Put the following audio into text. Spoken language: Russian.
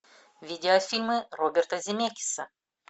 видеофильмы роберта земекиса